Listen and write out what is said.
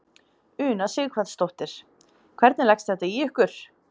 Una Sighvatsdóttir: Hvernig leggst þetta í ykkur?